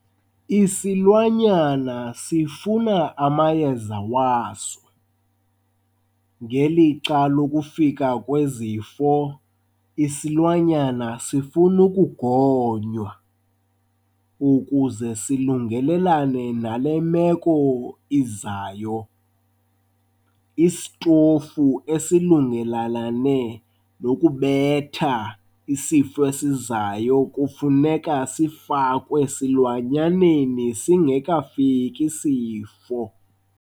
Isilwanyana sifuna amayeza waso, ngelixa lokufika kwezifo isilwanyana sifuna ukugonywa ukuze silungelelane nale meko izayo. Isitofu esilungelalane nokubetha isifo esizayo kufuneka sifakwe esilwanyaneni singekafiki isifo.